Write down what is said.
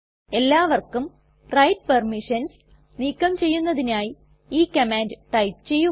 എല്ലാവർക്കും write permissions നീക്കം ചെയ്യുന്നതിനായി ഈ കമാൻഡ് ടൈപ്പ് ചെയ്യുക